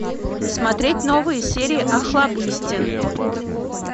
смотреть новые серии охлобыстин